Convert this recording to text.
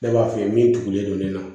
Ne b'a f'i ye min tugulen don ne na